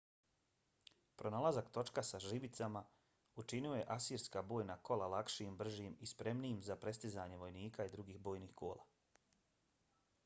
pronalazak točka sa žbicama učinio je asirska bojna kola lakšim bržim i spremnijim za prestizanje vojnika i drugih bojnih kola